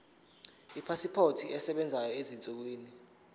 ipasipoti esebenzayo ezinsukwini